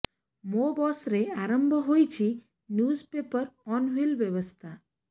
ମୋ ବସରେ ଆରମ୍ଭ ହୋଇଛି ନ୍ୟୁଜ ପେପର ଅନ ହ୍ୱିଲ୍ ବ୍ୟବସ୍ଥା